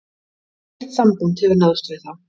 Ekkert samband hefur náðst við þá